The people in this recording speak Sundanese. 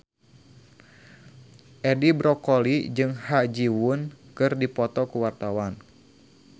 Edi Brokoli jeung Ha Ji Won keur dipoto ku wartawan